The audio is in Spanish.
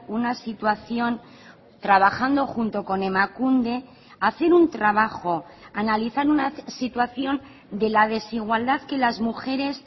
una situación trabajando junto con emakunde hacen un trabajo analizan una situación de la desigualdad que las mujeres